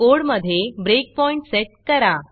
कोडमधे breakpoint set करा